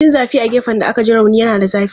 Jin zafi a gefen da aka ji rauni yana da zafi.